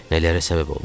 nələrə səbəb olmuşduq.